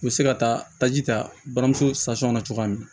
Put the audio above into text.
U bɛ se ka taa taji ta balimamuso na cogoya min na